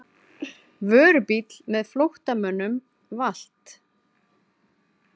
Vörubíll með flóttamönnum valt